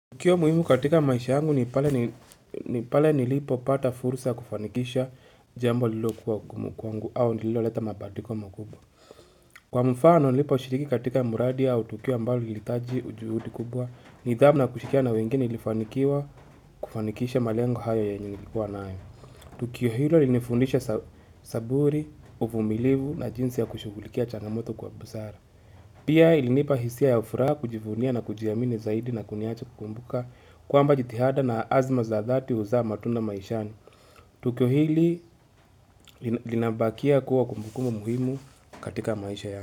Tukio muhimu katika maisha yangu ni pale nilipopata fursa kufanikisha jambo lilokuwa gumu kwangu au lililoleta mabadiliko mkubwa. Kwa mfano niliposhiriki katika muradi au tukio ambalo ilitaji ujuhudi kubwa, nidhamu na kushirikiana wengine nilifanikiwa kufanikisha malengo hayo yenye nilikuwa nayo. Tukio hilo ilinifundisha saburi, uvumilivu na jinsi ya kushugulikia changamoto kwa busara. Pia ilinipa hisia ya furaha kujivunia na kujiamini zaidi na kuniacha kukumbuka kwamba jithihada na azma za dhati huzaa matunda maishani Tukio hili linabakia kuwa kumbukumbu muhimu katika maisha yangu.